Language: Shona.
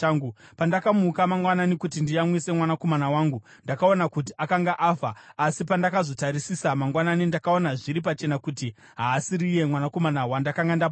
Pandakamuka mangwanani kuti ndiyamwise mwanakomana wangu ndakaona kuti akanga afa; asi pandakazotarisisa mangwanani, ndakaona zviri pachena kuti haasiriye mwanakomana wandakanga ndapona.”